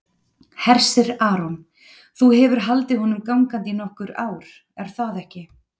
Hersir Aron: Þú hefur haldið honum gangandi í nokkur ár, er það ekki?